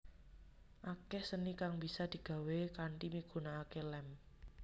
Akeh seni kang bisa digawé kanthi migunakake lem